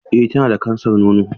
Eh tana da kansar nono.